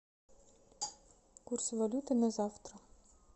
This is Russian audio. курс валюты на завтра